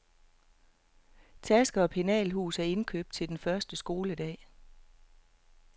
Taske og penalhus er indkøbt til den første skoledag.